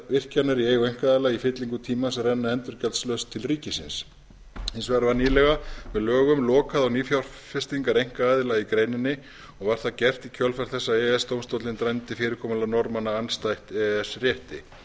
virkjanir í eigu einkaaðila í fyllingu tímans renna endurgjaldslaust til ríkisins hins vegar var nýlega með lögum lokað á nýfjárfestingar einkaaðila í greininni og var það gert í kjölfar þess að e e s dómstóllinn dæmdi fyrirkomulag norðmanna andstætt e e s rétti